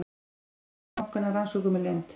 Starfsemi bankanna rannsökuð með leynd